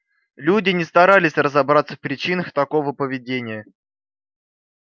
люди не старались разобраться в причинах такого поведения